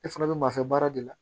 E fana bɛ maa fɛ baara de la